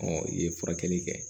i ye furakɛli kɛ